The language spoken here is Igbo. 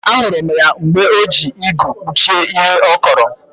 Ahụrụ m mgbe o ji igu kpuchie ihe ọ kọrọ